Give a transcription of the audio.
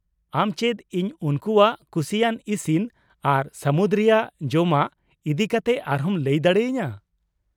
ᱟᱢ ᱪᱮᱫ ᱤᱧ ᱩᱱᱠᱩᱣᱟᱜ ᱠᱩᱥᱤᱭᱟᱱ ᱤᱥᱤᱱ ᱟᱨ ᱥᱟᱹᱢᱩᱫ ᱨᱮᱭᱟᱜ ᱡᱚᱢᱟᱜ ᱤᱫᱤ ᱠᱟᱛᱮ ᱟᱨᱦᱚᱸᱢ ᱞᱟᱹᱭ ᱫᱟᱲᱮᱭᱟᱹᱧᱟᱹ ?